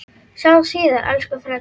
Sjáumst síðar, elsku frændi minn.